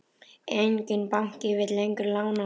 Enginn banki vill lengur lána honum.